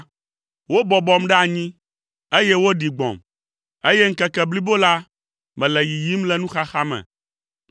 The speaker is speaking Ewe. Wobɔbɔm ɖe anyi, eye woɖi gbɔ̃m, eye ŋkeke blibo la, mele yiyim le nuxaxa me.